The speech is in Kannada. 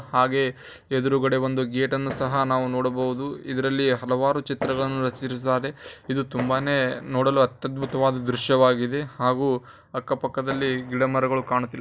ಹಾಗೆ ಎದ್ರುಗಡೆ ಒಂದು ಗೇಟ್ ನ್ನು ಸಹ ಕಾಣಬಹುದು ಇದರಲ್ಲಿ ಹಲವಾರು ಚಿತ್ರಗಳನ್ನು ರಚಿಸಿದ್ದಾರೆ ನೋಡಲು ಅತಿ ಅದ್ಭುತ ದೃಶ್ಯವಾಗಿದೆ ಹಾಗು ಅಕ್ಕ ಪಕ್ಕದಲ್ಲಿಗಿಡಮರಗಳು ಕಾಣುತ್ತಿಲ್ಲಾ.